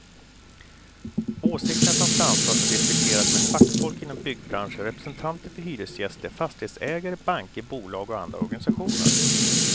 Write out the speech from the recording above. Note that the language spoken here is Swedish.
Åsikterna som framförs har diskuterats med fackfolk inom byggbranschen, representanter för hyresgäster, fastighetsägare, banker, bolag och andra organisationer.